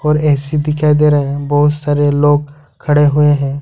और ए_सी दिखाई दे रहे हैं बहुत सारे लोग खड़े हैं।